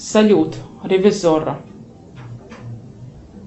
салют ревизорро